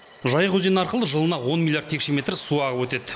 жайық өзені арқылы жылына он миллиард текше метр су ағып өтеді